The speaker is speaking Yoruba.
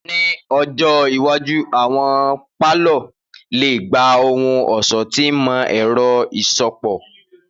Ni ọjọ iwaju, awọn palọ le gba ohun-ọṣọ ti imọ-ẹrọ iṣọpọ.